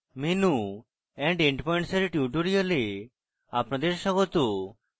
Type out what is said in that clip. menu and endpoints এর tutorial আপনাদের স্বাগত